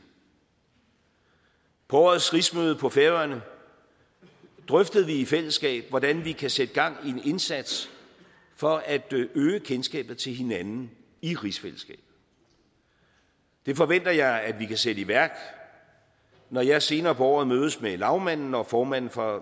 på årets rigsmøde på færøerne drøftede vi i fællesskab hvordan vi kan sætte gang i en indsats for at øge kendskabet til hinanden i rigsfællesskabet det forventer jeg at vi kan sætte i værk når jeg senere på året mødes med lagmanden og formanden for